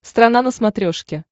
страна на смотрешке